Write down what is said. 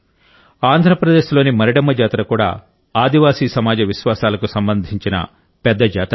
ఆంధ్ర ప్రదేశ్లోని మరిడమ్మ జాతర కూడా ఆదివాసీ సమాజ విశ్వాసాలకు సంబంధించిన పెద్ద జాతర